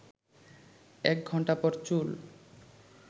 ১ ঘণ্টা পর চুল